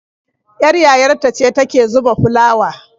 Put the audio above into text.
Ƴar yayar ta ce ta ke zuba fulawa.